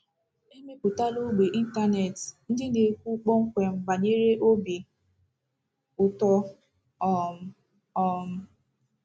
E mepụtala ógbè ịntanetị ndị na-ekwu kpọmkwem banyere obi ụtọ um. um